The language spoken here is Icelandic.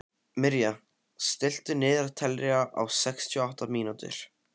Mirja, stilltu niðurteljara á sextíu og átta mínútur.